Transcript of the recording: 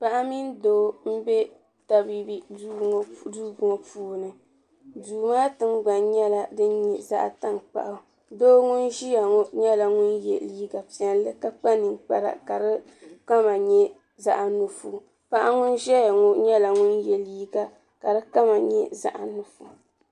Paɣa mini doo n bɛ tabiibi duu ŋɔ puuni duu maa tingbani nyɛla din nyɛ zaɣa tankpaɣu doo ŋun ʒiya ŋɔ nyɛla ŋun yɛ liiga piɛlli ka kpa ninkpara ka di kama nyɛ zaɣa nuɣusu paɣa ŋun ʒɛya ŋɔ nyɛla ŋun yɛ liiga ka di kama nyɛ zaɣa nuɣusu.